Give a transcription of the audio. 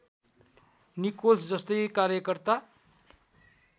Nichols जस्तै कार्यकर्ता